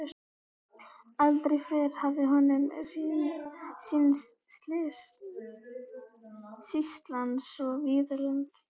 Aldrei fyrr hafði honum sýnst sýslan svo víðlend.